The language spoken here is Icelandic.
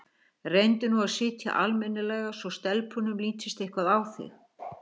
Reyndu nú að sitja almennilega svo stelpunum lítist eitthvað á þig